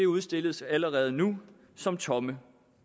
udstilles allerede nu som tomme